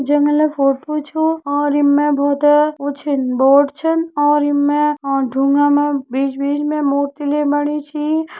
जंगल photo छू और यिमा बहोत है वू छिन बोर्ड छिन और यिमे और डुंगा मा बिच बिच में मूर्ति ले बणी सी।